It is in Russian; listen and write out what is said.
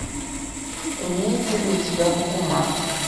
имеется ли у тебя бакуман